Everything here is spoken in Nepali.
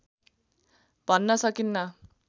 भन्न सकिन्न